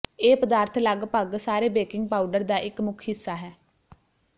ਇਹ ਪਦਾਰਥ ਲਗਭਗ ਸਾਰੇ ਬੇਕਿੰਗ ਪਾਊਡਰ ਦਾ ਇੱਕ ਮੁੱਖ ਹਿੱਸਾ ਹੈ